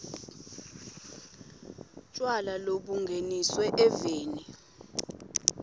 tjwala lobungeniswe eveni